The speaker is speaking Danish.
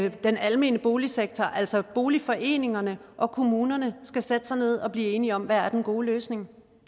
at den almene boligsektor altså boligforeningerne og kommunerne skal sætte sig ned og blive enige om hvad den gode løsning